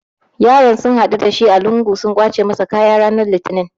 Yaron sun haɗu da shi a lungu sun kwace masa kaya rana Litinin.